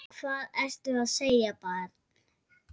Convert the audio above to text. Hvað ertu að segja barn?